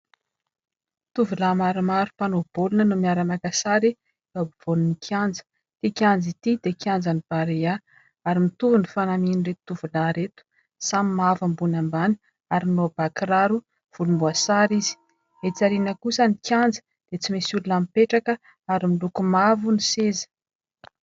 Tovolahy maromaro mpanao baolina no miara-maka sary eo ampovoan'ny kianja. Ity kianja ity dia kianjan'ny Barea ary mitovy ny fanamian'ireto tovolahy ireto, samy mavo ambony ambany ary manao bà kiraro volomboasary izy. Etsy aoriana kosa ny kianja dia tsy misy olona mipetraka ary miloko mavo ny seza.